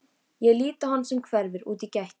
Ég lít á hann sem hverfur úr gættinni.